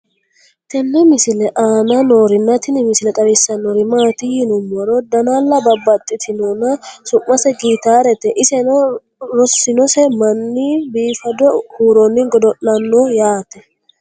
tenne misile aana noorina tini misile xawissannori maati yinummoro dannalla babaxxittinnonna su'mase gitaarete. isenno rosinose manni biiffaddo huuronni godo'lanno yaatte